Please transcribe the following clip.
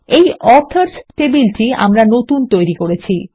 এই অথর্স টেবিলটি আমরা নতুন তৈরী করেছি